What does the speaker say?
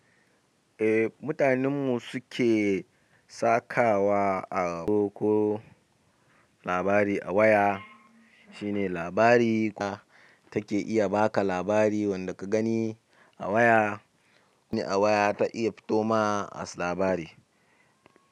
Eh, mutanen mu su ke sakawa a ko labari a waya. Shine labari na take iya baka labari wanda ka gani a waya. A waya ta iya fito ma as labari.